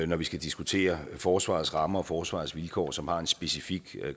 når vi skal diskutere forsvarets rammer og forsvarets vilkår som har en specifik